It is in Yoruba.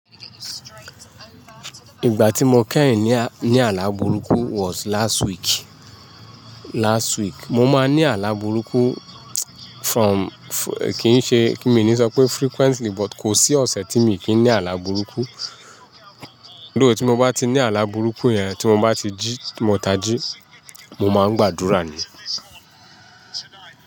Ìgbà tí mo kẹ́yìn ní, ní àlá burúkú was last week, last week. Mo máa ń ní àlá burúkú from-- kì í ṣe kí mi ni sọ pé frequently but kò sí ọ̀sẹ̀ tí mi kì í ní àlá burúkú. Though tí mo bá ti ní àlá burúkú yẹn tí mo bá ti jí, ti mo ta jí, mo máa ń gbàdúrà ni.